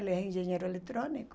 Ele era engenheiro eletrônico.